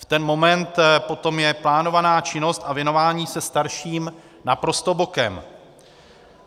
V ten moment potom jde plánovaná činnost a věnování se starším naprosto bokem.